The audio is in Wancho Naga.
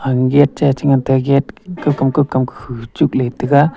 gate cha e ngan tai ga gate kokam kokam .]